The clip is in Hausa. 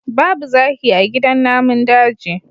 Babu zaki a gidan namun daji